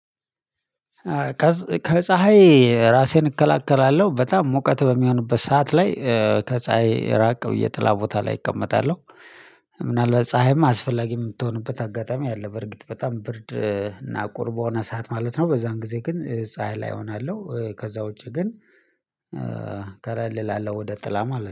ከፀሀይ ራሴን እከላከላለሁ በጣም ሙቀት በሚሆኑበት ሰዓት ላይ ከፀሀይ ራቅ ብዬ ጥላ ቦታ ላይ እቀመጣለሁ። ምናልባት ፀሀይም አስፈላጊ የምትሆንበት አጋጣሚ አለ በርግጥ በጣም ብርድ እና ቁርቦና ሰዓት ማለት ነው በዛን ጊዜ ግን ፀሀይ ላይ እሆናለሁ ከዛ ውጪ ግን ከለል እላለው ወደ ጥላ ማለት ነው